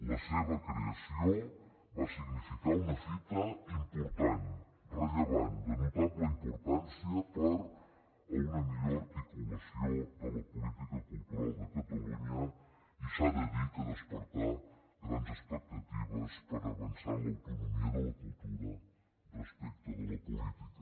la seva creació va significar una fita important rellevant de notable importància per a una millor articulació de la política cultural de catalunya i s’ha de dir que despertà grans expectatives per avançar en l’autonomia de la cultura respecte de la política